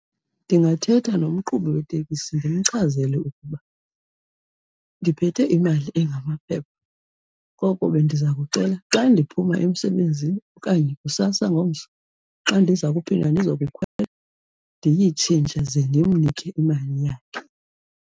Ndingathetha nomqhubi wetekisi ndimchazele ukuba ndiphethe imali engamaphepha koko bendiza kucela xa ndiphuma emsebenzini okanye kusasa ngomso xa ndiza kuphinda ndizokukhwela ndiyitshintshe ze ndimnike imali yakhe.